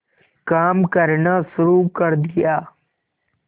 काम करना शुरू कर दिया